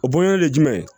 O bonyani de ye jumɛn ye